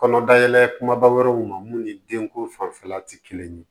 Kɔnɔ dayɛlɛ kumaba wɛrɛw ma mun ni denko fanfɛla tɛ kelen ye